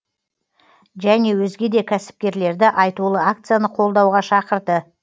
және өзге де кәсіпкерлерді айтулы акцияны қолдауға шақырды